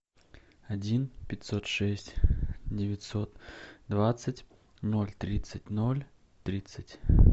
один пятьсот шесть девятьсот двадцать ноль тридцать ноль тридцать